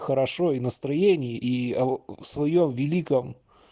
хорошое настроение и своё великом